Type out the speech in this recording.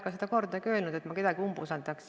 Ma ei ole kordagi öelnud, et ma kedagi umbusaldan.